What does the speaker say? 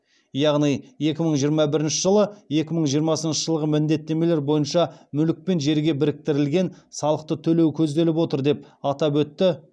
яғни екі мың жиырма бірінші жылы екі мың жиырмасыншы жылғы міндеттемелер бойынша мүлік пен жерге біріктірілген салықты төлеу көзделіп отыр деп атап өтті